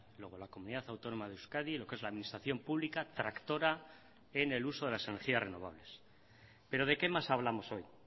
luego la comunidad autónoma de euskadi lo que es la administración pública tractora en el uso de las energías renovables pero de qué más hablamos hoy